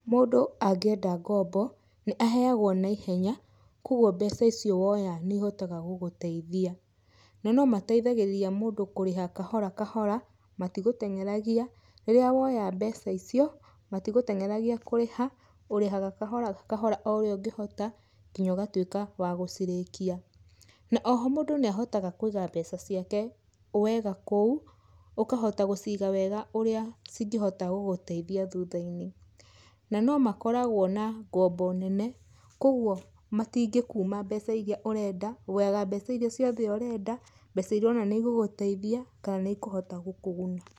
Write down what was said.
Mũndũ angĩenda ngombo, nĩ aheagwo na ihenya, kogwo mbeca icio woya nĩ ihotaga gũgũteithia. Na no mateithagĩrĩria mũndũ kũreha kahora kahora, matigũtenyeragĩa, rĩrĩa woya mbeca icio, matigũtenyeragĩa kũrĩha, ũrĩhaga kahora kahora o ũrĩa ũngĩhota ngĩnya ũgatwĩka wa gũcirekia. Na oho mũndũ nĩ ahotaga kũiga mbeca ciake wega kũu, ũkahota gũciga wega ũrĩa cingĩhota gũgũteithia thutha-inĩ. Na no ma koragwo na ngombo nene, kogwo matingĩkuma mbeca iria ũrenda, woyaga mbeca iria ciothe ũrenda, mbeca ũrona nĩ igũgũteithia kana nĩ ikũhota gũkũguna.